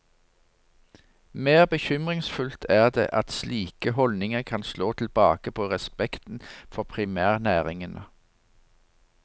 Mer bekymringsfullt er det at slike holdninger kan slå tilbake på respekten for primærnæringene.